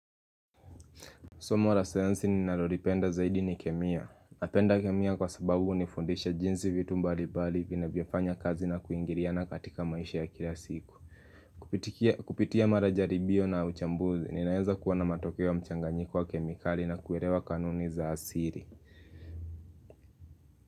Somo la sayansi ni narolipenda zaidi ni kemia. Napenda kemia kwa sababu uni fundisha jinsi vitu mbali bali vina vyofanya kazi na kuingiria na katika maisha ya kila siku. Kupitia marajari bio na uchambuzi ni naenza kuwa na matokeo ya mchanganyiko wa kemikali na kuerewa kanuni za asiri.